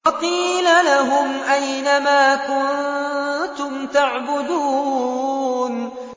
وَقِيلَ لَهُمْ أَيْنَ مَا كُنتُمْ تَعْبُدُونَ